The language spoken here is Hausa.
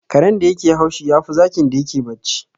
Karen da yake haushi, yafi zakin da yake bacci.